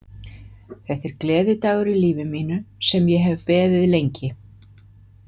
Þetta er gleðidagur í lífi mínu, sem ég hef beðið lengi.